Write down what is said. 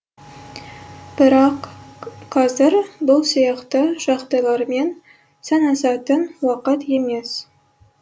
бірақ қазір бұл сияқты жағдайлармен санасатын уақыт емес